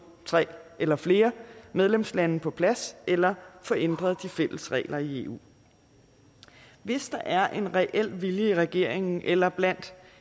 tre eller flere medlemslande på plads eller få ændret de fælles regler i eu hvis der er en reel vilje i regeringen eller blandt